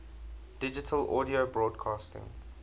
digital audio broadcasting